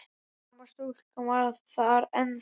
Sama stúlkan var þar ennþá.